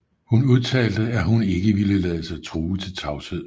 Hun udtalte at hun ikke ville lade sig true til tavshed